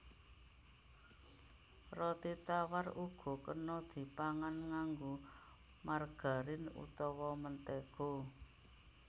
Roti tawar uga kena dipangan nganggo margarin utawa mentéga